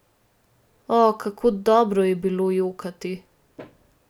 O, kako dobro je bilo jokati!